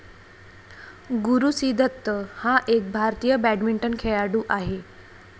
गुरु सी दत्त हा एक भारतीय बॅडमिंटन खेळाडू आहे